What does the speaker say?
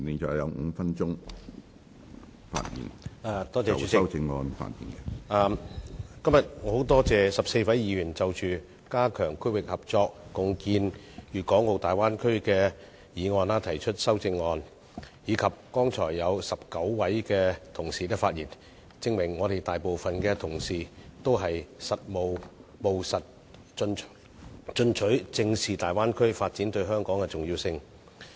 主席，今天我十分感謝14位議員就着"加強區域合作，共建粵港澳大灣區"的議案提出修正案，以及剛才有19位議員發言，證明大部分同事均務實進取，正視粵港澳大灣區發展對香港的重要性。